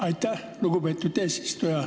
Aitäh, lugupeetud eesistuja!